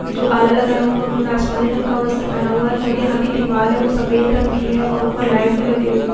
जो आला लगा हुआ है उसने आसमानी रंग का वस्त्र पहना हुआ जो कि यहां की दीवार है वह सफेद रंग की है और ऊपर लाइट भी लगी हुए --